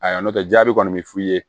Ayiwa n'o tɛ jaabi kɔni mi f'u ye